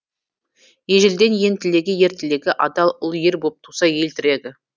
ежелден ең тілегі ер тілегі адал ұл ер боп туса ел тірегі